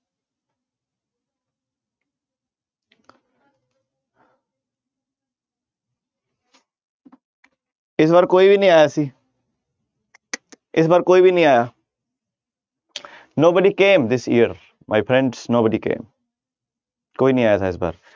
ਇਸ ਵਾਰ ਕੋਈ ਵੀ ਨੀ ਆਇਆ ਸੀ ਇਸ ਵਾਰ ਕੋਈ ਵੀ ਨੀ ਆਇਆ nobody came this year my friends, nobody came ਕੋਈ ਨੀ ਆਇਆ ਸੀ ਇਸ ਵਾਰ।